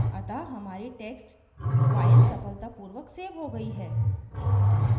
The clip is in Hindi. अतः हमारी text file सफलतापूर्वक so हो गयी है